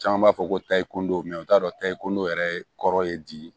Caman b'a fɔ ko tayi kodon o t'a dɔ tayi ko ndo yɛrɛ kɔrɔ ye bi